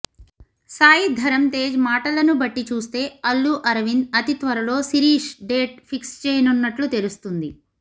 సాయి ధరమ్ తేజ్ మాటలను బట్టి చూస్తే అల్లు అరవింద్ అతి త్వరలో శిరీష్ డేట్ ఫిక్స్ చేయనున్నట్లు తెలుస్తోంది